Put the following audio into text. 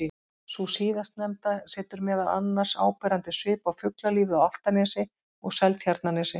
Sú síðastnefnda setur meðal annars áberandi svip á fuglalífið á Álftanesi og Seltjarnarnesi.